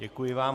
Děkuji vám.